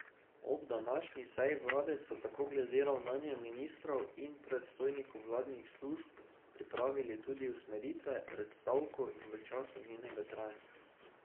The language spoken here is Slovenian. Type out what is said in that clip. Ob današnji seji vlade so tako glede ravnanja ministrov in predstojnikov vladnih služb pripravili tudi usmeritve pred stavko in v času njenega trajanja.